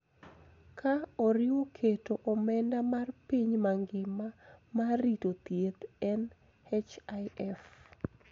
Ka oriwo keto omenda mar piny mangima mar rito thieth (NHIF).